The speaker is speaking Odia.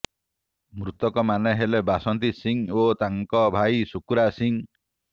ମୃତକମାନେ ହେଲେ ବାସିନ୍ତୀ ସିଂ ଓ ତାଙ୍କ ଭାଇ ସୁକୁରା ସିଂ